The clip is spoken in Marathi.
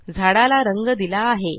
झाडाला रंग दिला आहे